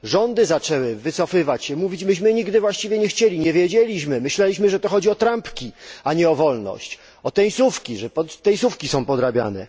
Rządy zaczęły się wycofywać mówić Myśmy nigdy właściwie nie chcieli, nie wiedzieliśmy, myśleliśmy że to chodzi o trampki, a nie o wolność, o tenisówki, które są podrabiane.